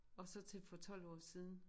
Og så til for 12 år siden